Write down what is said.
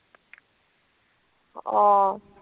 অ।